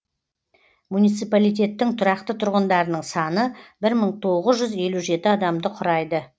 муниципалитеттің тұрақты тұрғындарының саны бір мың тоғыз жүз елу жеті адамды құрайды